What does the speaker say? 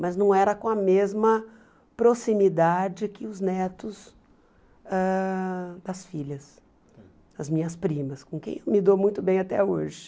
Mas não era com a mesma proximidade que os netos ãh das filhas, das minhas primas, com quem me dou muito bem até hoje.